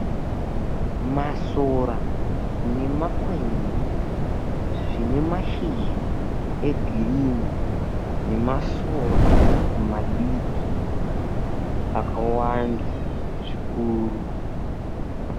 Masora nemakwenzi zvine mashizha egirini, nemasora madiki akawanda zvikuru.